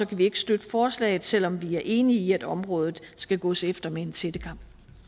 kan vi ikke støtte forslaget selv om vi er enige i at området skal gås efter med en tættekam